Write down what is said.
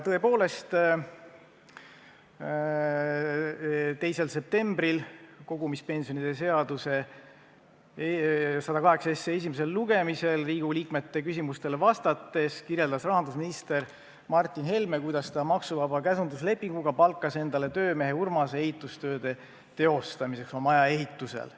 Tõepoolest, 2. septembril, kui oli kogumispensionide seaduse eelnõu 108 esimene lugemine, siis kirjeldas rahandusminister Martin Helme Riigikogu liikmete küsimustele vastates, kuidas ta maksuvaba käsunduslepinguga palkas endale töömees Urmase ehitustööde teostamiseks oma maja ehitusel.